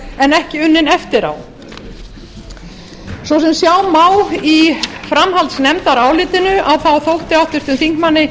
en ekki unnin eftir á svo sem sjá má í framhaldsnefndarálitinu þótti háttvirtum þingmanni